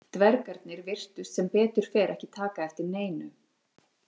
Dvergarnir virtust sem betur fer ekki taka eftir neinu.